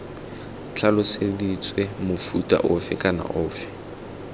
tlhaloseditswe mofuta ofe kana ofe